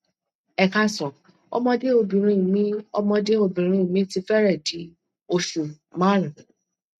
ẹ káàsán ọmọde obinrin mi ọmọde obinrin mi ti fẹrẹẹ di osu marun